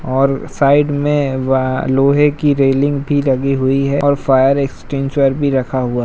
और साइड में वा लोहे की रेलिंग भी लगी हुई है और फायर एक्स्टेंसेर भी रखा हुआ --